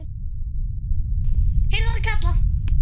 heyrði hann kallað.